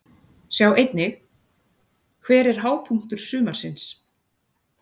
Sjá einnig: Hver er hápunktur sumarsins?